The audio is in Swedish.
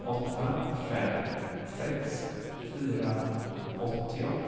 åtta fem sex fyra åttio